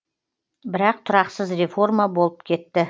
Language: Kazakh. бірақ тұрақсыз реформа болып кетті